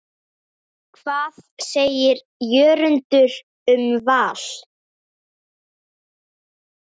Hvað segir Jörundur um Val?